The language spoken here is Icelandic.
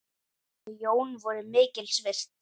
Þau Jón voru mikils virt.